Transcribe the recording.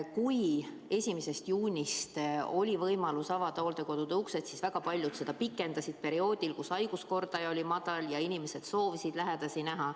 Kui 1. juunist oli võimalus avada hooldekodude uksed, siis väga paljud lükkasid seda edasi perioodil, kus haiguskordaja oli madal ja inimesed soovisid lähedasi näha.